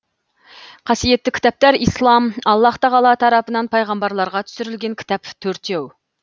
қасиетті кітаптар ислам аллаһ тағала тарапынан пайғамбарларға түсірілген кітап төртеу